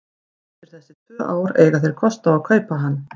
Eftir þessi tvö ár eiga þeir kost á að kaupa hann.